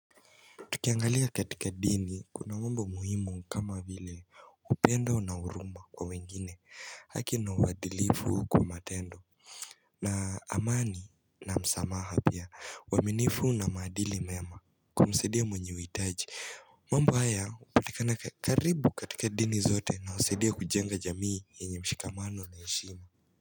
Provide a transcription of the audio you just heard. Tukiangalia katika dini kuna mambo muhimu kama vile upendo na huruma kwa wengine haki na uwadhilifu kwa matendo na amani na msamaha pia uwaminifu na madili mema kumsaidia mwenye huitaji mambo haya hupatikana karibu katika dini zote na husaidia kujenga jamii yenye mshikamano na heshima.